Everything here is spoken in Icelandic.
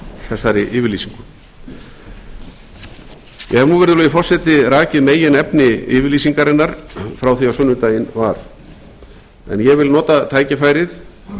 þessari yfirlýsingu ég hef nú virðulegi forseti rakið meginefni yfirlýsingarinnar frá því á sunnudaginn var ég vil nota tækifærið